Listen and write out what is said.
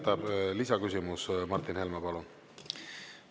Lisaküsimus, Martin Helme, palun!